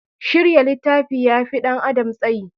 Shirya littafi ya fi ɗan adam tsayi.